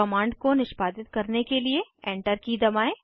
command को निष्पादित करने के लिए एंटर की दबाएं